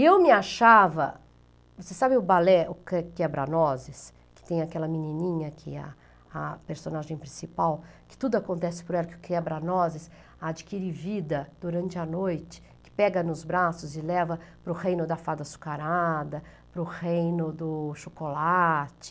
Eu me achava, você sabe o balé, o o Quebra-Noses, que tem aquela menininha que é a a personagem principal, que tudo acontece por ela, que o Quebra-Noses adquire vida durante a noite, que pega nos braços e leva para o reino da fada açucarada, para o reino do chocolate.